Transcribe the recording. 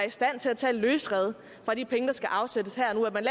i stand til at tage løsrevet fra de penge der skal afsættes her og nu at man